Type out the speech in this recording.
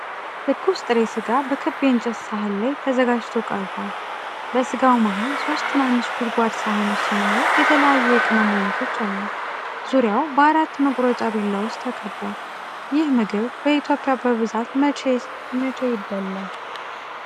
ትኩስ ጥሬ ሥጋ በክብ የእንጨት ሳህን ላይ ተዘጋጅቶ ቀርቦ። በሥጋው መሃል ሦስት ትናንሽ ጎድጓዳ ሳህኖች ሲኖሩ፣ የተለያዩ የቅመም አይነቶች አሉ። ዙሪያው በአራት መቁረጫ ቢላዎች ተከቧል። ይህ ምግብ በኢትዮጵያ በብዛት መቼ ይበላል?